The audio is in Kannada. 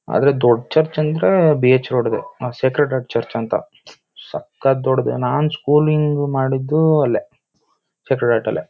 ಅದೇ ದೊಡ್ಡ್ ಚರ್ಚ್ ಅಂದ್ರೆ ಬಿ ಹೆಚ್ ರೋಡ್ ದೆ ಸೇಕ್ರೆಡ್ ಹಾರ್ಟ್ ಚರ್ಚ್ ಅಂತ ಸಖತ್ ದೊಡ್ಡ್ಡೆ ನಂ ಸ್ಕೂಲ್ ಇಂಗ್ ಮಾಡಿದ್ದು ಅಲ್ಲೇ ಸೇಕ್ರೆಡ್ ಹಾರ್ಟ್ ಅಲ್ಲೇ.